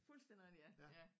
Fuldstændig rigtigt ja ja